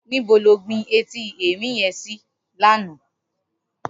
Nibó ló gbin éti èrin yèn si làná?